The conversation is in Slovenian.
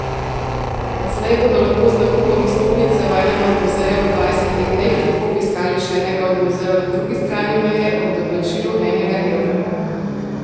Odslej bodo lahko z nakupom vstopnice v enem od muzejev v dvajsetih dneh lahko obiskali še enega od muzejev na drugi strani meje ob doplačilu enega evra.